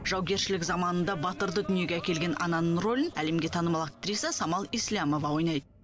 жаугершілік заманында батырды дүниеге әкелген ананың рөлін әлемге танымал актриса самал еслямова ойнайды